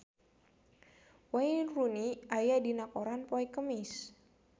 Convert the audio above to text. Wayne Rooney aya dina koran poe Kemis